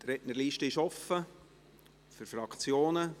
Die Rednerliste ist offen für Fraktionen.